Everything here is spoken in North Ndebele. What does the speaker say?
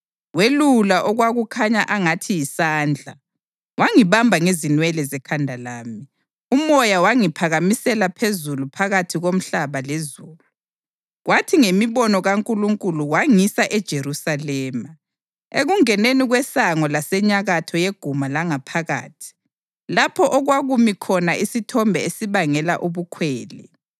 Welula okwakukhanya angathi yisandla wangibamba ngenwele zekhanda lami. UMoya wangiphakamisela phezulu phakathi komhlaba lezulu, kwathi ngemibono kaNkulunkulu wangisa eJerusalema, ekungeneni kwesango langasenyakatho yeguma langaphakathi, lapho okwakumi khona isithombe esibangela ubukhwele.